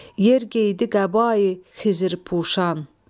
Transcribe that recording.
Yer geydi qəba Xızırpuşan.